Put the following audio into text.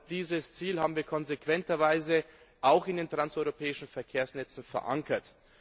Dieses Ziel haben wir konsequenterweise auch in den Transeuropäischen Verkehrsnetzen verankert.